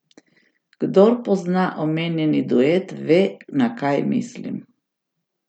Kdor pozna omenjeni duet, ve, na kaj mislim.